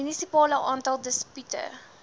munisipale aantal dispute